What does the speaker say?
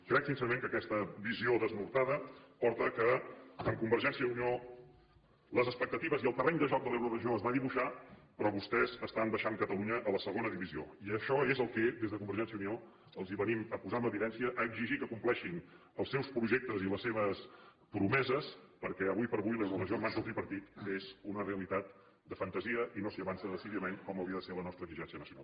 crec sincerament que aquesta visió desnortada porta que amb convergència i unió les expectatives i el terreny de joc de l’euroregió es van dibuixar però vostès estan baixant catalunya a la segona divisió i això és el que des de convergència i unió els venim a posar en evidència a exigir que compleixin els seus projectes i les seves promeses perquè ara com ara l’euroregió en mans del tripartit és una realitat de fantasia i no s’hi avança decididament com hauria de ser la nostra exigència nacional